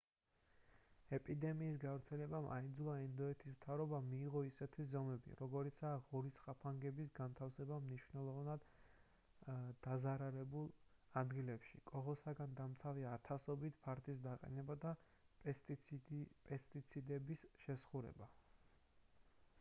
ეპიდემიის გავრცელებამ აიძულა ინდოეთის მთავრობა მიეღო ისეთი ზომები როგორიცაა ღორის ხაფანგების განთავსება მნიშვნელოვნად დაზარალებულ ადგილებში კოღოსგან დამცავი ათასობით ფარდის დაყენება და პესტიციდების შესხურება